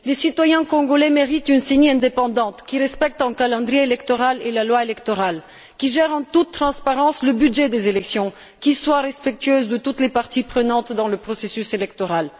Les citoyens congolais méritent une CENI indépendante qui respecte un calendrier électoral et la loi électorale, qui gère en toute transparence le budget des élections et qui soit respectueuse de toutes les parties prenantes dans le processus électoral.